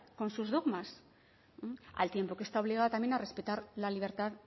con sus dogmas al tiempo que está obligada también a respetar la libertad